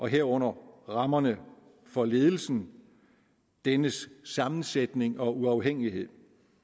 herunder rammerne for ledelsen dennes sammensætning og uafhængighed